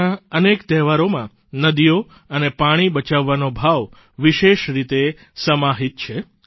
આપણા અનેક તહેવારોમાં નદીઓ અને પાણી બચાવવાનો ભાવ વિશેષ રીતે સમાહિત છે